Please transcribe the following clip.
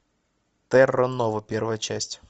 терра нова первая часть